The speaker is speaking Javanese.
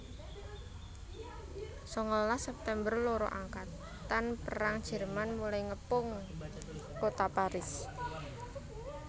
Sangalas September loro angkatan perang Jerman mulai ngepung kota Paris